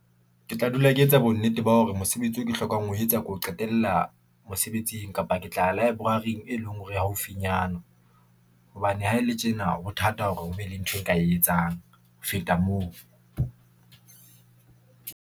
Ke tla dula ke etsa bonnete ba hore mosebetsi o ke hlokang ho etsa ko qetella mosebetsing kapa. Ke tla ya Library-ng e leng hore haufinyana hobane ha e le tjena ho thata hore o be le ntho e nka e etsang ho feta moo.